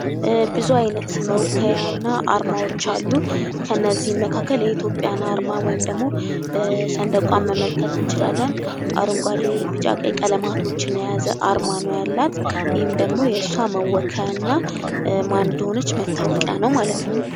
ብዙ አይነት መወከያ እና አርማዎች አሉ: ከነዚህ መካከል የኢትዮጵያን አርማ ወይም ደግሞ ሰንደቋን መመልከት እንችላለን። አረንጓዴ ቢጫ ቀይ ቀለማቶችን የያዘ አርማ ነው ያላት ይህም ደግሞ የእሷ መወከያ እና ማን እንደሆነች መታወቂያ ነው ::